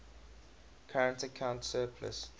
current account surplus